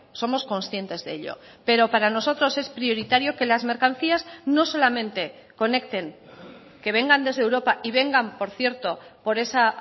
somos conscientes de ello pero para nosotros es prioritario que las mercancías no solamente conecten que vengan desde europa y vengan por cierto por esa